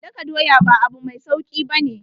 Daka doya ba abu mai sauki ba ne.